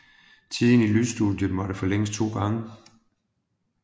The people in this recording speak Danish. Tiden i lydstudiet måtte forlænges to gange